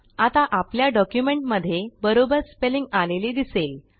आता आपल्या डॉक्युमेंटमध्ये बरोबर स्पेलिंग आलेले दिसेल